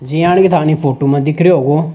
जियानी थानी फोटो में दिख रेहो हो।